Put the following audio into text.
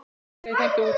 og fleira í þeim dúr.